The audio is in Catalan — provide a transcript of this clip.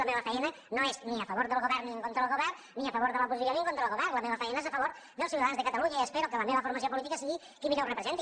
la meva faena no és ni a favor del govern ni en contra del govern ni a favor de l’oposició ni en contra del govern la meva faena és a favor dels ciutadans de catalunya i espero que la meva formació política sigui qui millor ho representi